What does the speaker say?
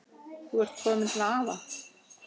Þú ert komin til afa.